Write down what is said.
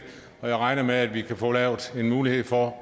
og jeg regner med at vi kan få lavet en mulighed for